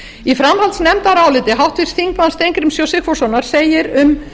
í framhaldsnefndaráliti háttvirtur þingmaður steingríms j sigfússonar segir um